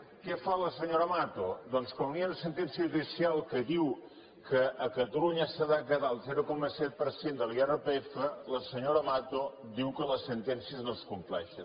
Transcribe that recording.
què fa la senyora mato doncs quan hi ha una sentència judicial que diu que a catalunya s’ha de quedar el zero coma set per cent de l’irpf la senyora mato diu que les sentències no es compleixen